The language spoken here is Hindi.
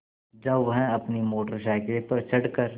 जब वह अपनी मोटर साइकिल पर चढ़ कर